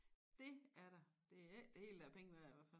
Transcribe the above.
Det er der er ikke det hele der er penge værd i hvert fald